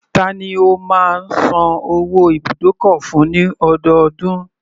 Tani o má ń san owó ibùdókọ̀ fún ní ọdọọdún?